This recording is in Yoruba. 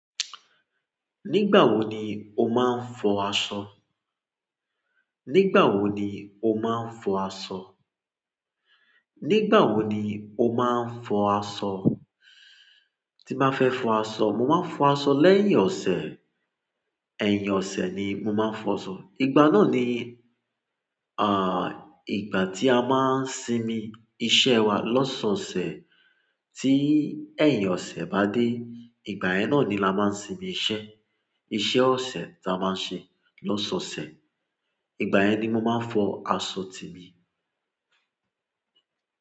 Nígbà wo ni o máa ń fọ aṣọ? Nígbà wo ni o máa ń fọ aṣọ? Nígbà wo ni o máa ń fọ aṣọ? Tí bá fẹ́ fọ aṣọ, mo máa ń fọ aṣọ lẹ́yìn ọ̀sẹ̀. Ẹ̀yin ọ̀sẹ̀ ni mo máa ń fọ aṣọ. Ìgbà náà ni, ìgbà tí a máa ń sinmi iṣẹ́ wa lọ́sọ̀ọ̀sẹ̀ be. Tí ẹ̀yin ọ̀sẹ̀ bá dé, ìgbà yẹn náà ni a máa ń sinmi iṣẹ́. Iṣẹ́ ọ̀sẹ̀ ta a máa ń ṣe lọ́sọ̀ọ̀sẹ̀. Ìgbà yẹn ni mo máa ń fọ aṣọ temi.